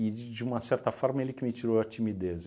de uma certa forma, ele que me tirou a timidez.